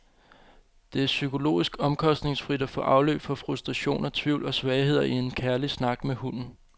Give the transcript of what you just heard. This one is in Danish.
Det er psykologisk omkostningsfrit at få afløb for frustrationer, tvivl og svagheder i en kærlig snak med hunden.